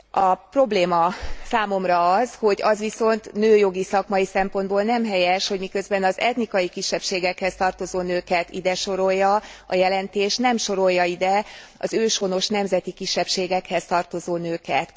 A probléma számomra az, hogy az viszont nőjogi szakmai szempontból nem helyes, hogy miközben az etnikai kisebbségekhez tartozó nőket ide sorolja a jelentés, nem sorolja ide az őshonos nemzeti kisebbségekhez tartozó nőket.